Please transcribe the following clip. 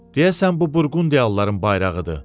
Deyəsən bu Burqundiyalıların bayrağıdır.